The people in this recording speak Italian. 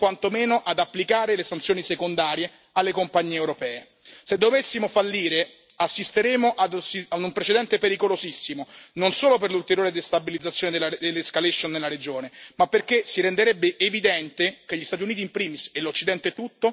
Se dovessimo fallire assisteremo ad un precedente pericolosissimo, non solo per l'ulteriore destabilizzazione e l'escalation nella regione, ma perché si renderebbe evidente che gli Stati Uniti in primis e l'Occidente tutto non sono più partner affidabili nel mantenere la parola data.